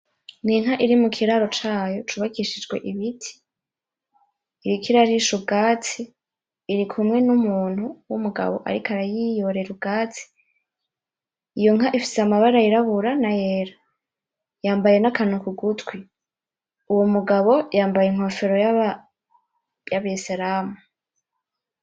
N’inka iri mu kiraro cayo cubakishijwe ibiti iriko irarisha ubwatsi irikumwe n’umuntu w’umugabo ariko arayiyorera ubwatsi iyo nka ifise amaba yirabura n’ayera yambaye n’akantu kugutwi uwo mugabo yambaye n’inkofero yabeseramu.